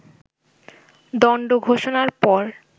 দণ্ড ঘোষণার পর